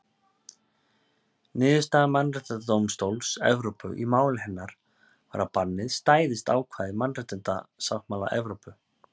Niðurstaða Mannréttindadómstóls Evrópu í máli hennar var að bannið stæðist ákvæði mannréttindasáttmála Evrópu.